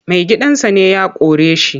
Maigidansa ne ya kore shi.